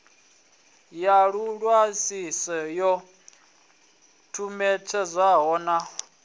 ya vhuṅwalisi yo ṱumetshedzwaho na